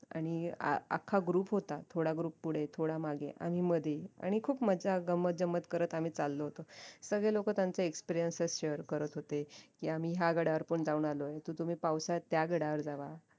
आणि आखा group होता थोडा group पुढे थोडा मागे आणि मध्ये आणि खूप मज्जा गंमतजंमत करत आम्ही चालो होतो सगळे लोक त्यांचा experiences करत होते की आम्ही ह्या गडावर पण जाऊन आलोय तर तुम्ही पावसाळ्यात त्या गडावर जावा